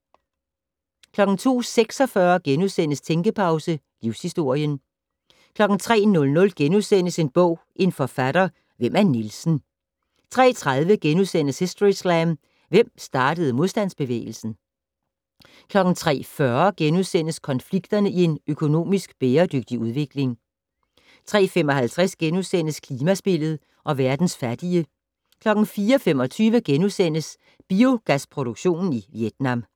02:46: Tænkepause - Livshistorien * 03:00: En bog, en forfatter - Hvem er Nielsen * 03:30: Historyslam - Hvem startede modstandsbevægelsen? * 03:40: Konflikterne i en økonomisk bæredygtig udvikling * 03:55: Klimaspillet og verdens fattige * 04:25: Biogasproduktion i Vietnam *